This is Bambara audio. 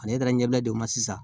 Ale taara ɲɛbila de ma sisan